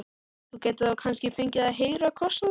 Þú gætir þá kannski fengið að heyra kossana.